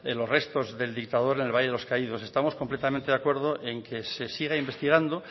los restos del dictador en el valle de los caídos estamos completamente de acuerdo en que se siga investigando